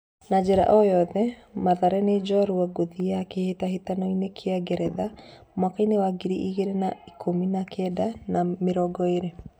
Na njĩra o yothe, Mathare nĩ njorua ngũthi ya kĩtahĩtanoinĩ kĩa Ngeretha mwakainĩ wa ngiri igĩrĩ na , ikũmi na kenda na mĩrongo ĩrĩ.